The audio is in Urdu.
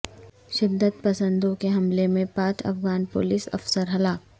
شدت پسندوں کے حملے میں پانچ افغان پولیس افسر ہلاک